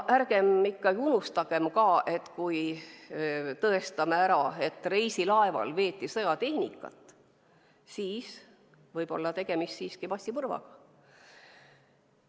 Ärgem unustagem ka, et kui tõestame ära, et reisilaeval veeti sõjatehnikat, siis võib olla tegemist massimõrvaga.